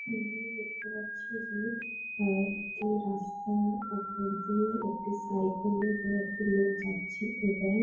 এই যে দেখতে পাচ্ছি য যে রাস্তার উপর দিয়ে একটি সাইকেল - এ দিয়ে একটি লোক জড়ছে এবং--